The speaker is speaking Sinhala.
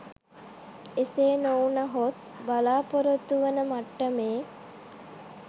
එසේ නොවුනහොත් බලාපොරොත්තු වන මට්ටමේ